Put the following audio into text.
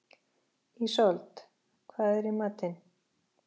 Ísold, hvað er í matinn?